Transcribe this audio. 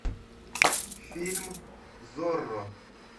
фильм зорро